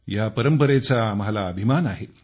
या परंपरेचा आम्हाला अभिमान आहे